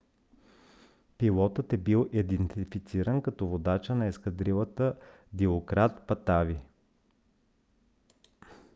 пилотът е бил идентифициран като водача на ескадрилата дилократ патави